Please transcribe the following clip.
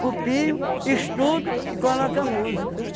Copio, estudo e coloco a música.